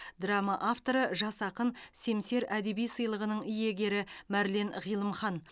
драма авторы жас ақын семсер әдеби сыйлығының иегері марлен ғилымхан